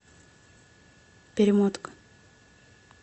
перемотка